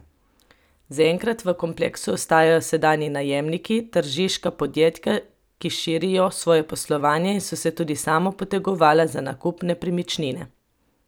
Zaenkrat v kompleksu ostajajo sedanji najemniki, tržiška podjetja, ki širijo svoje poslovanje in so se tudi sama potegovala za nakup nepremičnine.